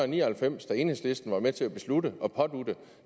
ni og halvfems da enhedslisten var med til at beslutte at pådutte